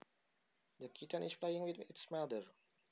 The kitten is playing with its mother